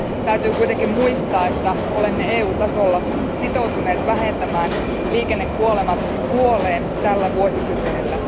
Täytyy kuitenkin muistaa, että olemme EU tasolla sitoutuneet vähentämään liikennekuolemat puoleen tällä vuosikymmenellä.